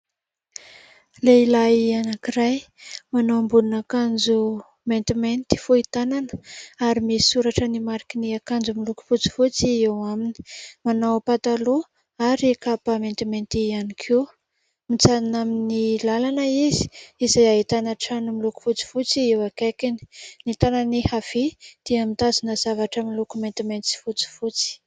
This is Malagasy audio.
Lehilahy anankiray manao ambonin' akanjo maintimainty fohy tanana, ary misoratra ny mariky ny akanjo miloko fotsifotsy eo aminy. Manao pataloha ary kapa maintimainty ihany koa ; mijanona amin'ny làlana izy, izay ahitana trano miloko fotsifotsy eo akaikiny. Ny tànany havia dia mitazona zavatra miloko maintimainty sy fotsifotsy.